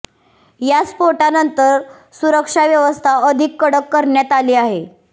या स्फोटानंतर सुरक्षा व्यवस्था अधिक कडक करण्यात आली आहे